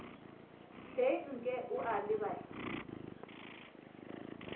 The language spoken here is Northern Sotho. hleng nke o a lebala